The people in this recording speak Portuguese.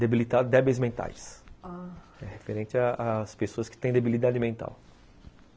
débeis mentais, ah... referente às pessoas que têm debilidade mental.